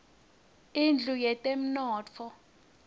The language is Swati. indlu yetemnotfo